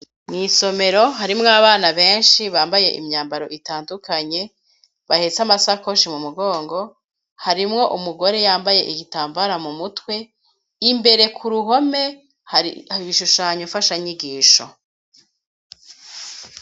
Mwisomero harimwo abana benshi bambaye imyambaro itandukanye bahetse amasakoshi mu mugongo harimwo umugore yambaye igitambara mu mutwe imbere ku ruhome hari ibishushanyo mfasha nyigisho.